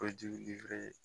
O ji bɛ